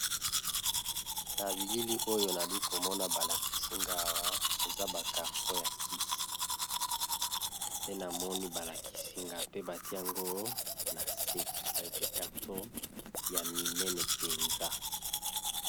Na bilili oyo nali komona balakisingawa eza bakarton ya kisi te na moni balakisingaw pe bati yango na se bekarto ya minene mpenza.